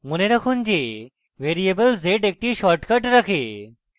মনে রাখুন যে ভ্যারিয়েবল z একটি shortcut রাখে